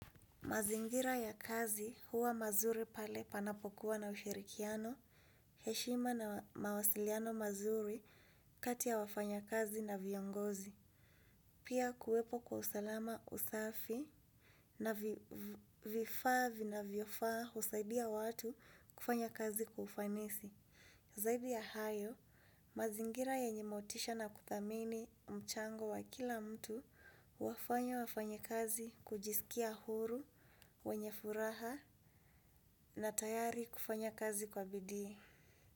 Mazingira ya kazi huwa mazuri pale panapokuwa na ushirikiano, heshima na mawasiliano mazuri kati ya wafanyakazi na viongozi. Pia kuwepo kwa usalama usafi na vifaa vinavyofaa husaidia watu kufanya kazi kwa ufanisi. Zaidi ya hayo, mazingira yenye motisha na kuthamini mchango wa kila mtu huwafanya wafanyikazi kujisikia huru, wenye furaha na tayari kufanya kazi kwa bidii.